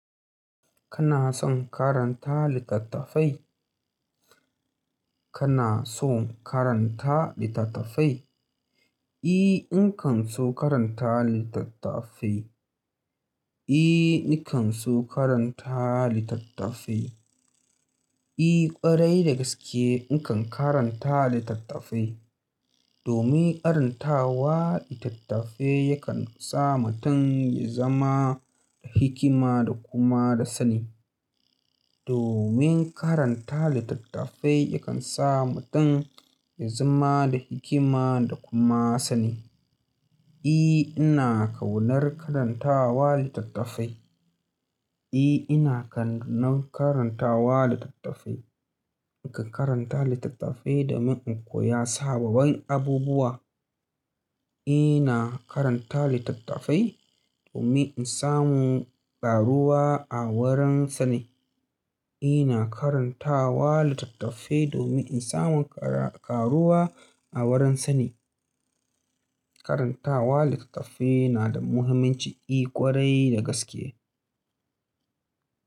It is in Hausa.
Kana son karanta littattafai? Kana so karanta littattafai? E, in kan so karanta littattafai. E, ni kan so karanta littattafai. E, ƙwarai da gaske ni kan karanta littattafai. Domin karantawa littattafai yakan sa mutum ya zama da hikima da kuma da sani. Domin karanta littattafai yakan sa mutum ya zama da hikima da kuma sani. E, ina kaunar karantawa littattafai. E, ina kaunar karantawa littattafai. Ni kan karanta littattafai domin in koya sababbin abubuwa. Ina karanta littattafai domin in samu ƙaruwa a wurin sani. Ina karantawa littattafai domin in samu ƙa-ƙaruwa a wurin sani. Karantawa littattafai na da muhimmanci, e ƙwarai da gaske.